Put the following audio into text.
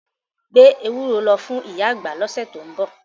Gbé ewúro lọ fún ìyá àgbà lọ́sẹ̀ tó ń bọ̀.